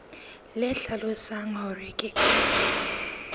le hlalosang hore ke ka